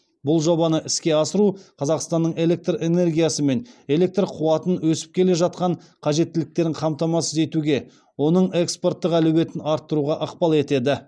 бұл жобаны іске асыру қазақстанның электр энергиясы мен электр қуатына өсіп келе жатқан қажеттіліктерін қамтамасыз етуге оның экспорттық әлеуетін арттыруға ықпал етеді